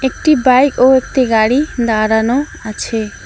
একটি বাইক ও একটি গাড়ি দাঁড়ানো আছে।